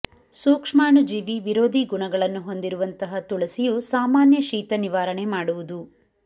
ಸೂಕ್ಷ್ಮಾಣುಜೀವಿ ವಿರೋಧಿ ಗುಣಗಳನ್ನು ಹೊಂದಿರುವಂತಹ ತುಳಸಿಯು ಸಾಮಾನ್ಯ ಶೀತ ನಿವಾರಣೆ ಮಾಡುವುದು